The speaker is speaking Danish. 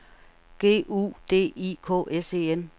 G U D I K S E N